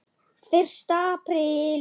FYRSTI APRÍL